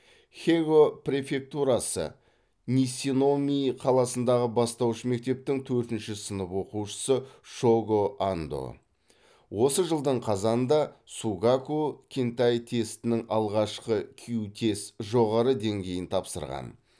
хего префектурасы нисиномии қаласындағы бастауыш мектептің төртінші сынып оқушысы шого андо осы жылдың қазанында сугаку кэнтэй тестінің алғашқы кю тест жоғары деңгейін тапсырған